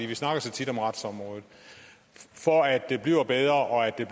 vi snakker så tit om retsområdet for at det bliver bedre og at det